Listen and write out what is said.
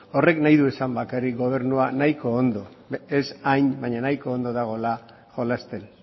horrek nahi du esan bakarrik gobernua nahiko ondo ez hain baina nahiko ondo dagoela jolasten